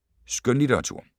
Skønlitteratur